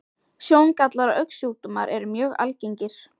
Sjóngallar og augnsjúkdómar eru mjög algengir.